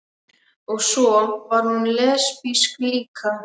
Og svo var hún lesbísk líka.